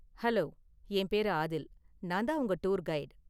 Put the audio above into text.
Hello, என் பேரு ஆதில், நான்தான் உங்க டூர் கைடு.